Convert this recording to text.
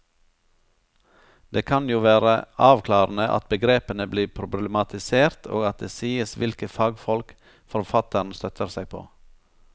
Det kan jo være avklarende at begrepene blir problematisert og at det sies hvilke fagfolk forfatteren støtter seg på.